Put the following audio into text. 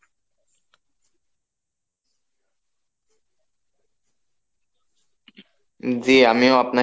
জি আমিও আপনার